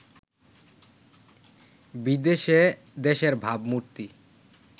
বিদেশে দেশের ভাবমূর্তি